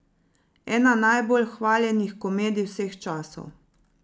Ena najbolj hvaljenih komedij vseh časov!